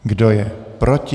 Kdo je proti?